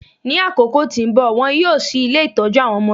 Ní àkókò tí nbọ, wón yíò ṣí ilé itọju awọn ọmọdé